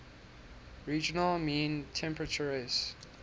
regional mean temperaturess